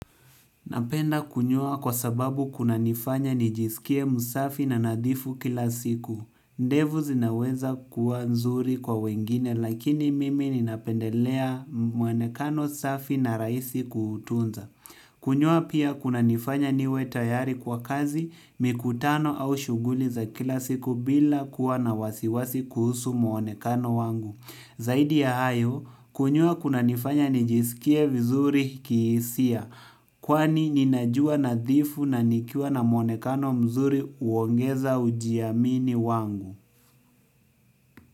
Napenda kunyoa kwa sababu kuna nifanya nijisikie msafi na nadhifu kila siku. Ndevu zinaweza kuwa nzuri kwa wengine lakini mimi ninapendelea mwonekano safi na rahisi kutunza. Kunyoa pia kuna nifanya niwe tayari kwa kazi, mikutano au shuguli za kila siku bila kuwa na wasiwasi kuhusu mwonekano wangu. Zaidi ya hayo, kunyoa kunanifanya nijisikie vizuri kihisia, kwani ninajua nadhifu na nikiwa na mwonekano mzuri uongeza ujiamini wangu.